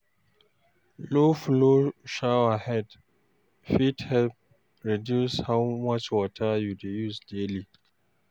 Low flow shower head fit help reduce how much water you dey use daily.